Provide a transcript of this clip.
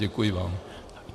Děkuji vám.